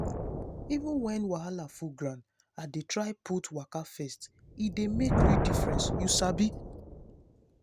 even when wahala full ground i dey dey try put waka first e dey make real difference you sabi.